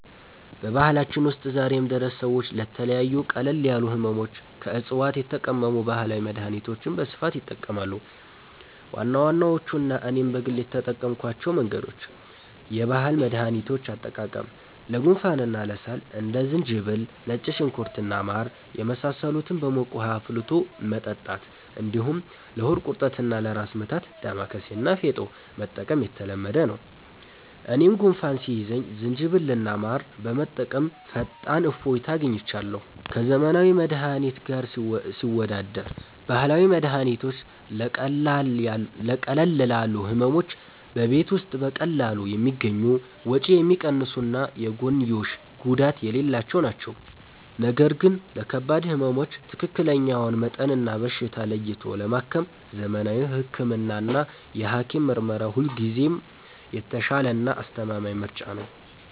በባህላችን ውስጥ ዛሬም ድረስ ሰዎች ለተለያዩ ቀለል ያሉ ሕመሞች ከዕፅዋት የተቀመሙ ባህላዊ መድኃኒቶችን በስፋት ይጠቀማሉ። ዋና ዋናዎቹና እኔም በግል የተጠቀምኩባቸው መንገዶች፦ የባህል መድኃኒቶች አጠቃቀም፦ ለጉንፋንና ለሳል እንደ ዝንጅብል፣ ነጭ ሽንኩርት እና ማር የመሳሰሉትን በሙቅ ውኃ አፍልቶ መጠጣት፣ እንዲሁም ለሆድ ቁርጠትና ለራስ ምታት «ዳማከሴ» እና «ፌጦ» መጠቀም የተለመደ ነው። እኔም ጉንፋን ሲይዘኝ ዝንጅብልና ማር በመጠቀም ፈጣን እፎይታ አግኝቻለሁ። ከዘመናዊ መድኃኒት ጋር ሲወዳደር፦ ባህላዊ መድኃኒቶች ለቀለል ያሉ ሕመሞች በቤት ውስጥ በቀላሉ የሚገኙ፣ ወጪ የሚቀንሱና የጎንዮሽ ጉዳት የሌላቸው ናቸው። ነገር ግን ለከባድ ሕመሞች ትክክለኛውን መጠንና በሽታ ለይቶ ለማከም ዘመናዊ ሕክምናና የሐኪም ምርመራ ሁልጊዜም የተሻለና አስተማማኝ ምርጫ ነው።